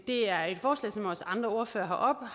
det er et forslag som også andre ordførere